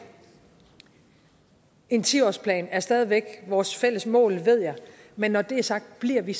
en ti årsplan er stadig væk vores fælles mål ved jeg men når det er sagt bliver vi